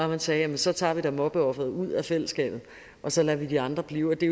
man sagde at så tager vi da mobbeofferet ud af fællesskabet og så lader vi de andre blive det